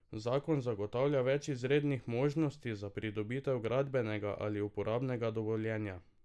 Zakon zagotavlja več izrednih možnosti za pridobitev gradbenega ali uporabnega dovoljenja.